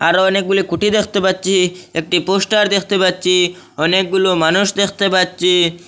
আরো অনেকগুলি খুঁটি দেখতে পাচ্ছি একটি পোস্টার দেখতে পাচ্ছি অনেকগুলো মানুষ দেখতে পাচ্ছি।